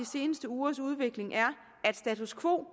seneste ugers udvikling er at status quo